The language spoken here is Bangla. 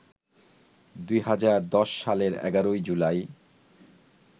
২০১০ সালের ১১ জুলাই